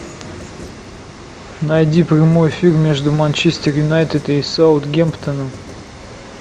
найди прямой эфир между манчестер юнайтед и саутгемптоном